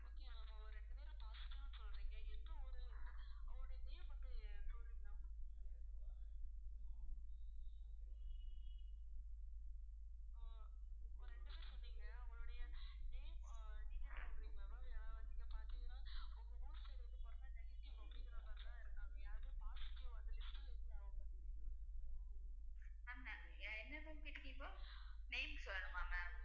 ma'am என்ன ma'am கேட்டீங்க இப்போ வருமா ma'am